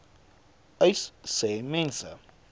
uys sê mense